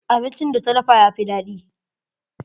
Abincin da ta dafa yafi daɗi.